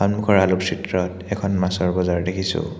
সন্মুখৰ আলোকচিত্ৰত এখন মাছৰ বজাৰ দেখিছোঁ।